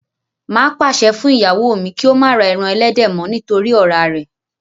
Má á pàṣẹ fún ìyàwó mi kí ó má ra ẹran ẹlẹ́dẹ̀ mọ́ nítorí ọ̀rá rẹ̀